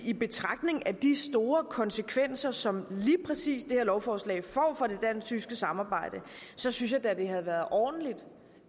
i betragtning af de store konsekvenser som lige præcis det her lovforslag får for det dansk tyske samarbejde så synes jeg da det havde været ordentligt